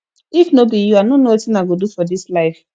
if no be you i no know wetin i go do for dis life